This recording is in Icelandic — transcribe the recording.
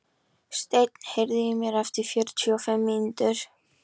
Steinn, heyrðu í mér eftir fjörutíu og fimm mínútur.